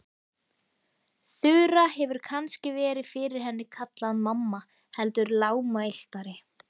Þura hefur kannski verið fyrir henni kallaði mamma heldur lágmæltari.